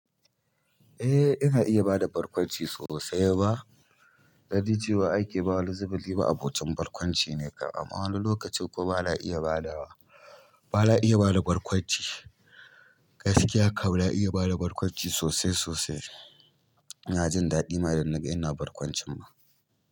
Eh ina iya bada barkwanci sosai ba. Dan ni cewa ake ma wani zubin ni ma'abocin barkwanci ne kam, amma wani lokacin kuma bana iya badawa, ba na iya bada barkwanci. Gaskiya kam na iya bada barkwanci sosai sosai. Ina jin daɗi ma idan naga ina barkwancin ma.